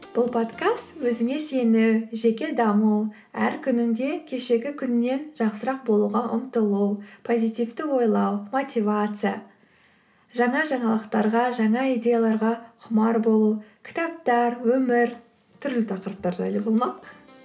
бұл подкаст өзіме сену жеке даму әр күнінде кешегі күннен жақсырақ болуға ұмтылу позитивті ойлау мотивация жаңа жаңалықтарға жаңа идеяларға құмар болу кітаптар өмір түрлі тақырыптар жайлы болмақ